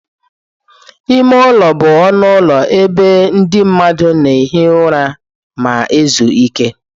Ime ụlọ bụ ọnụ ụlọ ebe ndị mmadụ na-ehi ụra ma ezu ike.